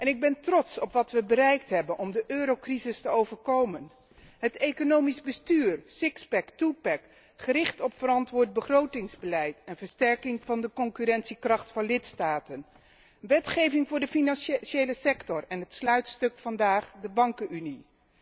Ik ben trots op wat wij bereikt hebben om de eurocrisis te boven te komen het economisch bestuur, sixpack, twopack, gericht op verantwoord begrotingsbeleid en versterking van de concurrentiekracht van lidstaten, wetgeving voor de financiële sector en het sluitstuk vandaag, de bankenunie.